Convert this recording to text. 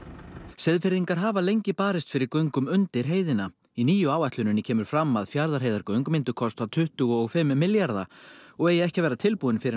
Seyðfirðingar hafa lengi barist fyrir göngum undir heiðina í nýju áætluninni kemur fram að Fjarðarheiðargöng myndu kosta tuttugu og fimm milljarða og eigi ekki að vera tilbúin fyrr